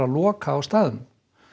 loka á staðnum